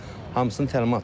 Hamısını təlimatlandırırlar.